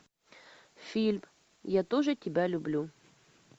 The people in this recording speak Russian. фильм я тоже тебя люблю